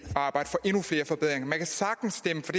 og arbejde for endnu flere forbedringer man kan sagtens stemme for